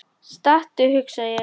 Stattu, hugsa ég.